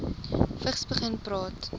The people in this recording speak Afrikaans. vigs begin praat